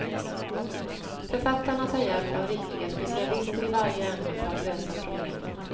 Författarna tar hjälp av riktiga specialister i varje ämne för att lösa problemen.